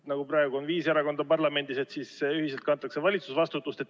Praegu on parlamendis viis erakonda, aga siis kantakse ühiselt valitsusvastutust.